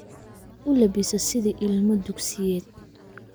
U labbiso sida ilmo dugsiyed